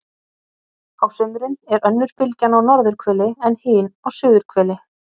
á sumrin er önnur bylgjan á norðurhveli en hin á suðurhveli